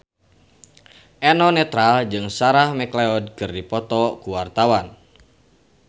Eno Netral jeung Sarah McLeod keur dipoto ku wartawan